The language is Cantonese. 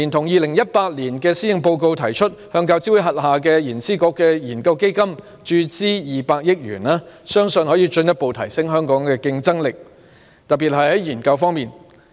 2018年施政報告也提出，向大學教育資助委員會轄下的研究資助局的研究基金注資200億元，相信可以進一步提升香港的競爭力，特別是在研究方面。